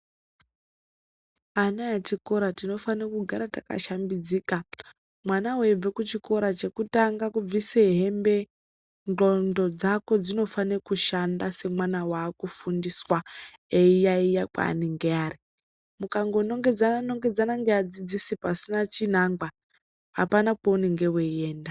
Ana echikora tinofana kugara takashambidzika mwana weibva kuchikora chekutanga kubvisa hembe ndxondo dzako dzinofana kushanda semwana wakufundiswa eiyayeya kwaanenge ari ukango nongedzana nongedzana neadzidzisi pasina chinangwa apana kwaunenge weienda.